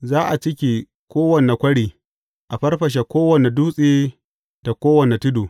Za a cike kowane kwari, a farfashe kowane dutse da kowane tudu.